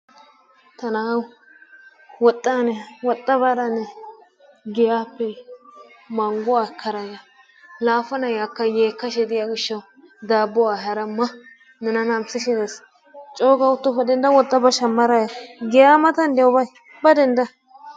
Ta nawu woxxa woxa ane woxa baara ane giyappe mangguwa ekkada ya, la pala akka yekkayda diya gishawu daabuwaa eyaara ma! Nena namisshi des coo ga uttoppa dendda woxxa ba shammara ya giya mantn dees ba.